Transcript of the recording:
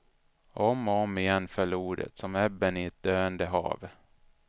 Och om och om igen föll ordet, som ebben i ett döende hav.